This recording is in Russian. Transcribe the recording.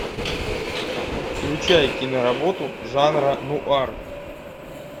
включай киноработу жанра нуар